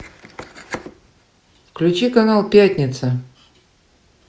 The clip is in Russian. включи канал пятница